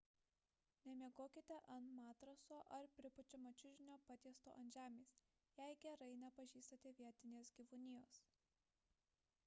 nemiegokite ant matraso ar pripučiamo čiužinio patiesto ant žemės jei gerai nepažįstate vietinės gyvūnijos